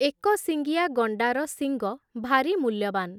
ଏକଶିଙ୍ଗିଆ ଗଣ୍ଡାର ଶିଙ୍ଗ, ଭାରି ମୂଲ୍ୟବାନ୍ ।